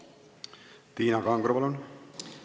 Tiina Kangro, palun!